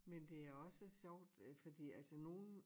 Men det er også sjovt øh fordi altså nogen